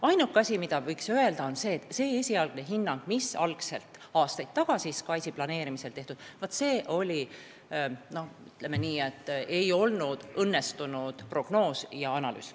Ainuke asi, mille üle võiks kurta, on see, et esialgne hinnang, mis aastaid tagasi SKAIS-i planeerimisel sai tehtud, ütleme nii, ei olnud õnnestunud prognoos ja analüüs.